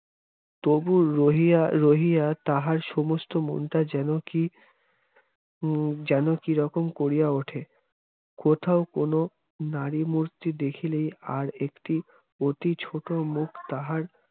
তবুও রহিয়া রহিয়া তাহার সমস্ত মনটা যেন কি উহ যেন কি রকম করিয়া ওঠে কোথাও কোন নারীমূর্তি দেখিলেই আর একটি অতি ছোট মুখ তাহার